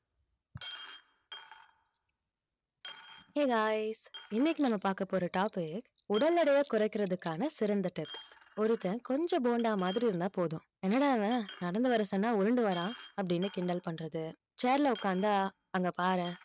hey guys இன்னைக்கு நம்ம பார்க்கப் போற topic உடல் எடையை குறைக்கிறதுக்கான சிறந்த tips ஒருத்தன் கொஞ்சம் போண்டா மாதிரி இருந்தா போதும் என்னடா இவன் நடந்து வர சொன்னா உருண்டு வர்றான் அப்படின்னு கிண்டல் பண்றது chair ல உக்காந்தா அங்க பாரேன்